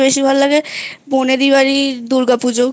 বেশি ভালো লাগে বনেদি বাড়ির দুর্গা পুজো